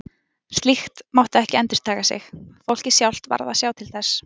Slíkt mátti ekki endurtaka sig, fólkið sjálft varð að sjá til þess.